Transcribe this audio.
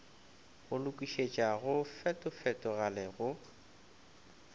go lokišetša go fetofetogale go